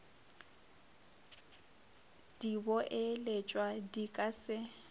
di boeletšwa di ka se